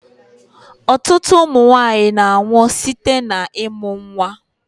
Ọtụtụ ụmụnwanyi na-anwu site na-ịmụ nnwa.